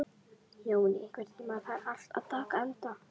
Jóný, einhvern tímann þarf allt að taka enda.